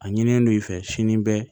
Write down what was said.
A ɲinilen no i fɛ sini bɛɛ